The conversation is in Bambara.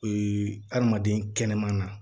adamaden kɛnɛman na